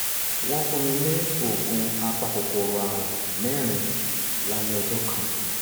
wọ́n fún mi ní oògùn apakòkòrò ààrùn mẹ́rin lálẹ́ ọjọ́ kan